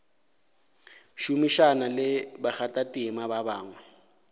šomišana le bakgathatema ba bangwe